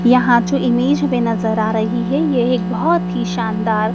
यहां जो इमेज में नजर आ रही है यह एक बहोत ही शानदार--